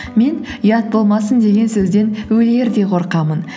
мен ұят болмасын деген сөзден өлердей қорқамын